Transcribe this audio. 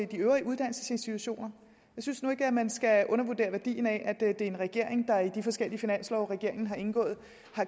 de øvrige uddannelsesinstitutioner jeg synes nu ikke at man skal undervurdere værdien af at det er en regering der i de forskellige finanslovsaftaler den har indgået